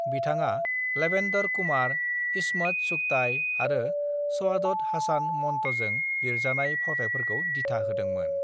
"बिथाङा लवेंदर कुमार, इस्मत चुगताई आरो सआदत हासान मंट'जों लिरजानाय फावथायफोरखौ दिथा होदोंमोन।"